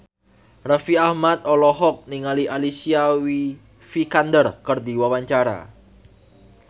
Raffi Ahmad olohok ningali Alicia Vikander keur diwawancara